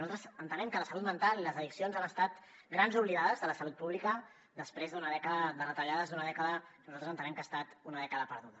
nosaltres entenem que la salut mental i les addiccions han estat grans oblidades de la salut pública després d’una dècada de retallades d’una dècada que nosaltres entenem que ha estat una dècada perduda